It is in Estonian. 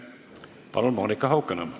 Palun, Monika Haukanõmm!